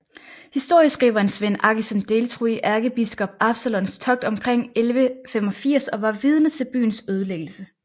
Historieskriveren Svend Aggesen deltog i ærkebiskop Absalons togt omkring 1185 og var vidne til byens ødelæggelse